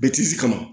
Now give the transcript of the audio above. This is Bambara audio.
Bɛtisi kama